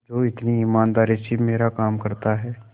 जो इतनी ईमानदारी से मेरा काम करता है